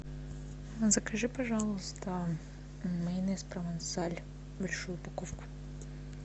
закажи пожалуйста майонез провансаль большую упаковку